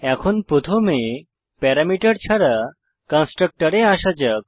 এখন প্রথমে প্যারামিটার ছাড়া কন্সট্রকটরে আসা যাক